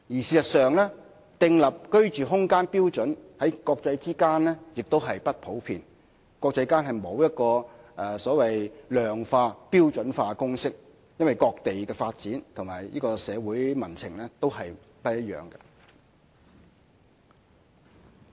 事實上，訂立居住空間標準的做法在國際間也不普遍，亦沒有所謂量化、標準化的公式，原因是各地的發展和社會民情不一樣。